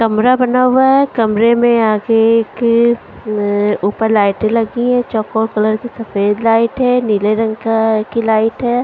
कमरा बना हुआ है कमरे में आगे एक ल ऊपर लाइटें लगी है चकोर कलर की सफेद लाइट है नीले रंग का की लाइट है।